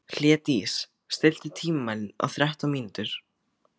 Hlédís, stilltu tímamælinn á þrettán mínútur.